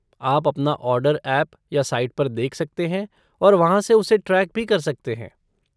आप अपना order app या साइट पर देख सकते हैं और वहाँ से उसे ट्रैक भी कर सकते हैं।